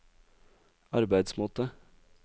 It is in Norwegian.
arbeidsmåte